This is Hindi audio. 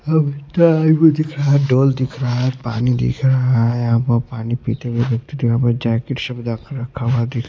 ढोल दिख रहा हैं पानी दिख रहा हैं पानी पीते हुए जैकिट रखा हुआँ दिख रहाँ हैं।